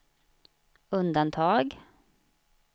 undantag